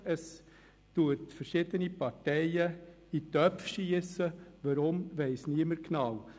Es verteilt verschiedene Parteien in Töpfe, weswegen weiss niemand genau.